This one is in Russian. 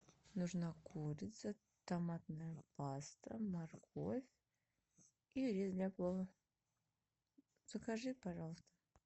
нужна курица томатная паста морковь и рис для плова закажи пожалуйста